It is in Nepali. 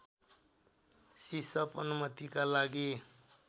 सिसअप अनुमतिका लागि